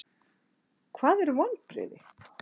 Hvað eru vonbrigði?